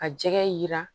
Ka jɛgɛ jira